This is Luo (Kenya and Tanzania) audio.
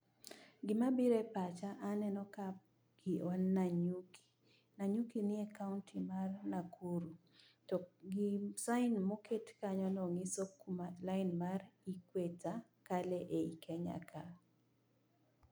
gima biro e pacha ka, aneno ka wan nanyuki. Nanyuki ni e [sc]county[sc] mar nakuru. to [sc]sign[sc] moket kanyo no nyiso kuma line mar equetor kalo e ei kenya ka.